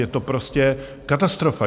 Je to prostě katastrofa.